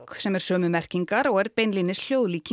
sem er sömu merkingar og er beinlínis